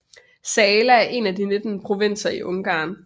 Zala er en af de 19 provinser i Ungarn